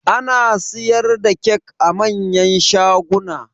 Ana siyar da kyak a manyan shaguna